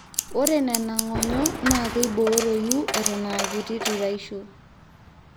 ore nena ng'onyo naa keibooroyu eton aakiti tuaishu